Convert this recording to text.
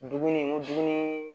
Dumuni n ko dumuni